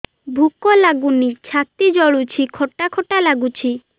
ଭୁକ ଲାଗୁନି ଛାତି ଜଳୁଛି ଖଟା ଖଟା ଲାଗୁଛି